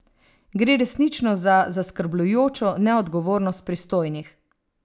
Gre resnično za zaskrbljujočo neodgovornost pristojnih.